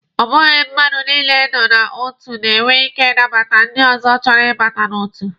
Ọ bụghị mmadụ niile nọ n'otu na-enwe ike ịnabata ndị ọzọ chọrọ ibata n'otu.